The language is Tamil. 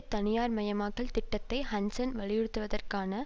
தனியார்மயமாக்கல் திட்டத்தை ஹன்சென் வலியுறுத்துவதற்கான